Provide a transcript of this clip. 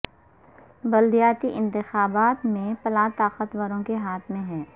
بلدیاتی انتخابات میں پلہ طاقت وروں کے ہاتھ میں ہے